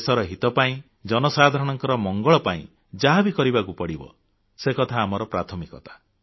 ଦେଶର ହିତ ପାଇଁ ଜନସାଧାରଣଙ୍କ ମଙ୍ଗଳ ପାଇଁ ଯାହା ବି କରିବାକୁ ପଡ଼ିବ ସେ କଥା ଆମର ପ୍ରାଥମିକତା